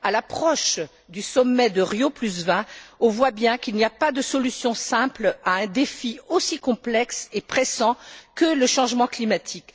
À l'approche du sommet de Rio20, on voit bien qu'il n'y a pas de solutions simples à un défi aussi complexe et pressant que le changement climatique.